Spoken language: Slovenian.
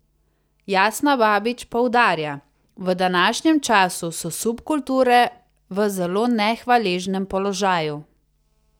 Jasna Babič poudarja: "V današnjem času so subkulture v zelo nehvaležnem položaju.